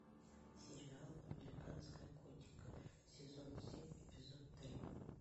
сериал американская готика сезон семь эпизод три